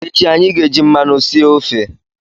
Echi anyị ga-eji mmanụ sie ofe